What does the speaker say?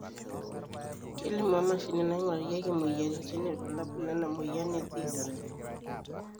kelimu emashini naingurarieki imoyiaritin irbulabol lena moyian e this